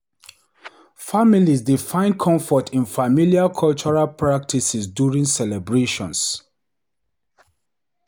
Families dey find comfort in familiar cultural practices during celebrations.